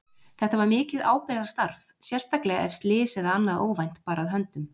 Þetta var mikið ábyrgðarstarf, sérstaklega ef slys eða annað óvænt bar að höndum.